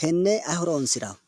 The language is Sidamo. tenne ayi horonsirawo?